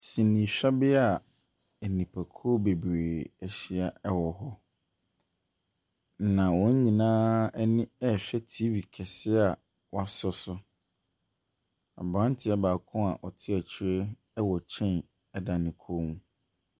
Sinihwɛbea enipakuo bebree ɛhyia wɔ hɔ. Na wɔn nyinaa ɛni rehwɛ tv kɛseɛ a waso so. Abranteɛ baako a ɔte akyire ɛwɔ chain ɛda ne kon mu.